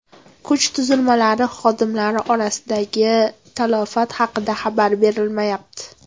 Kuch tuzilmalari xodimlari orasidagi talafot haqida xabar berilmayapti.